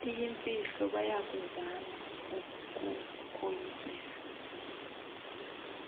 iyimfihlo bayakuzama ukukoyikisa